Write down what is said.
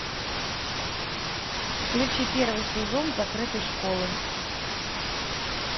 включи первый сезон закрытой школы